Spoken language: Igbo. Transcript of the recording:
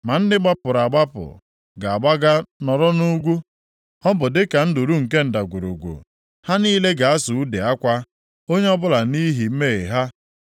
Ma ndị gbapụrụ agbapụ ga-agbaga nọrọ nʼugwu. Ọ bụ dịka nduru nke ndagwurugwu, ha niile ga-asụ ude akwa, onye ọbụla nʼihi mmehie ha.